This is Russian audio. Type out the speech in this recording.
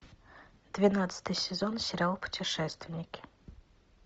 двенадцатый сезон сериал путешественники